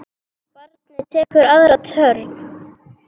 Barnið tekur aðra törn.